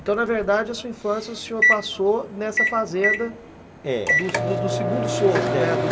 Então, na verdade, a sua infância o senhor passou nessa fazenda, é, do do segundo sogro, né?